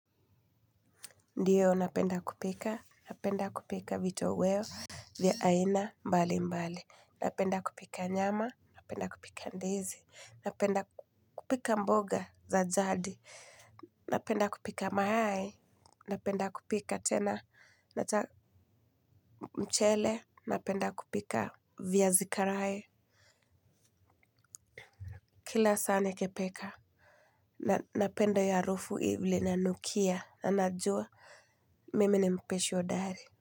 Ndio napenda kupika, napenda kupika vitoweo vya aina mbali mbali, napenda kupika nyama, napenda kupika ndizi, napenda kupika mboga za jadi. Napenda kupika mayai, napenda kupika tena mchele, napenda kupika viazi karae. Kila saa nikipika, napenda hio harufu vile inanukia, na najua mimi ni mpishi hodari.